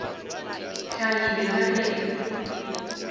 hlagile ka ge e le